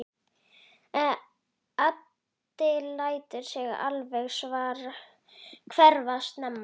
Addi lætur sig alltaf hverfa snemma.